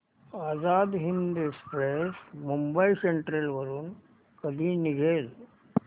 Azad Hind Express Mumbai Central वरून कधी निघेल